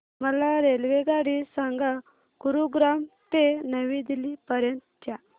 मला रेल्वेगाडी सांगा गुरुग्राम ते नवी दिल्ली पर्यंत च्या